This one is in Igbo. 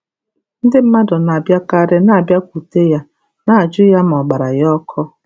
Ndị mmadụ na-abịakarị na-abịakwute ya na-ajụ ya ma ọ̀ gbara ya ọkụ.